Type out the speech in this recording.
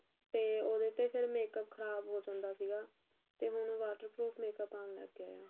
ਤੇ ਉਹਦੇ ਤੇ ਫੇਰ makeup ਖਰਾਬ ਹੋ ਜਾਂਦਾ ਸੀਗਾ ਤੇ ਹੁਣ waterproof makeup ਆਣ ਲੱਗ ਗਏ ਆ